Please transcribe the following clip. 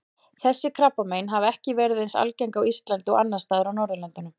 Þessi krabbamein hafa ekki verið eins algengt á Íslandi og annars staðar á Norðurlöndunum.